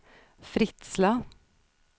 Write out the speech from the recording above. Fritsla